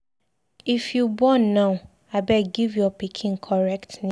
If you born now, abeg give your pikin correct name.